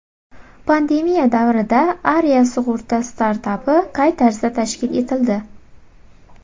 Pandemiya davrida Aria sug‘urta startapi qay tarzda tashkil etildi.